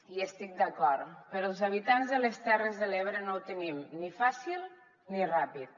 hi estic d’acord però els habitants de les terres de l’ebre no ho tenim ni fàcil ni ràpid